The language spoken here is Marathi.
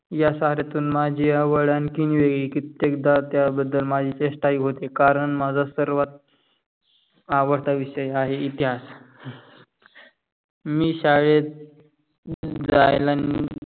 या साऱ्यातून माजी आवड आणखीन वेगळी कित्तेक द त्या बधल माजी चेस्टा पण होते. कारण मजा आवडता विषय आहे इतिहास. मी शाळेत जायला